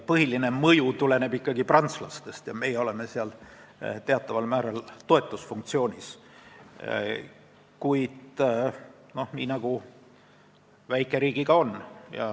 Põhiline mõju tuleb prantslastelt, meie täidame seal teatud toetusfunktsiooni, nii nagu väikeriigiga ikka on.